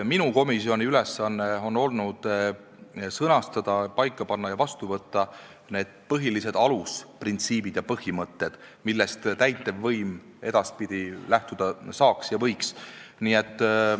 Minu komisjoni ülesanne on olnud sõnastada, paika panna ja vastu võtta põhilised alusprintsiibid ja põhimõtted, millest täitevvõim edaspidi lähtuda saaks ja võiks.